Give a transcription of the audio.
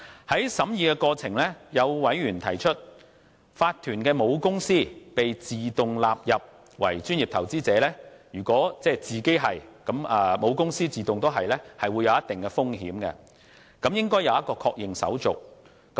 在審議的過程中，有委員提出，法團的母公司會被自動納入為專業投資者的做法，即如果子公司屬專業投資者，則母公司會自動成為專業投資者，會構成一定的風險，政府應設立確認手續。